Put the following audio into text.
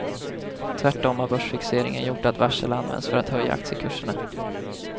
Tvärtom har börsfixeringen gjort att varsel används för att höja aktiekurserna.